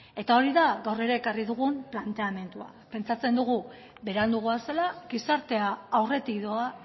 eta hori da gaur ere ekarri dugu planteamendua pentsatzen dugu berandu goazela gizartea aurretik doa